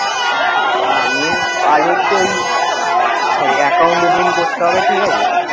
Main কাজ হচ্ছে ওই, ওই account booking করতে হবে ঠিক আছে,